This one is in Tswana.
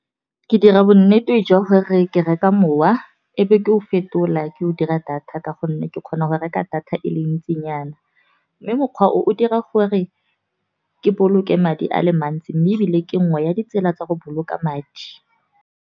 Ke dira bonnete jwa gore re ke reka mowa e be ke o fetola ke o dira data. Ka gonne ke kgona go reka data e le ntsinyana, mme mokgwa o dira gore ke boloke madi a le mantsi. Mme ebile ke nngwe ya ditsela tsa go boloka madi.